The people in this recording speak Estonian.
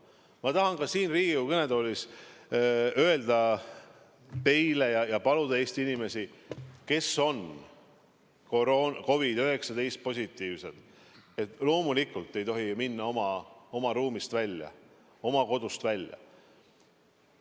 Ma tahan ka siin Riigikogu kõnetoolis öelda teile ja paluda Eesti inimesi, kes on COVID-19 positiivsed, et loomulikult ei tohi minna oma kodust välja.